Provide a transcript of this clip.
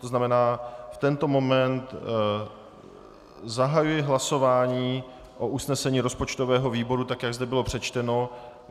To znamená, v tento moment zahajuji hlasování o usnesení rozpočtového výboru, tak jak zde bylo přečteno.